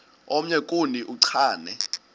omnye kuni uchane